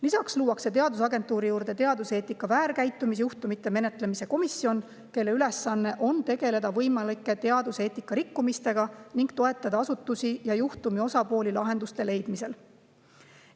Lisaks luuakse teadusagentuuri juurde teaduseetika väärkäitumisjuhtumite menetlemise komisjon, kelle ülesanne on tegeleda võimalike teaduseetika rikkumistega ning toetada asutusi ja juhtumi osapooli lahenduste leidmisel.